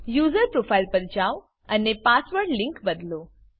user profile પર જાવ અને પાસવર્ડ લીંક બદલો